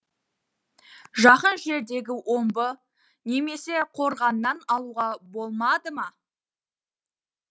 жақын жердегі омбы немесе қорғаннан алуға болмады ма